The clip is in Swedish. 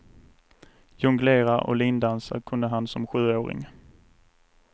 Jonglera och lindansa kunde han som sjuåring.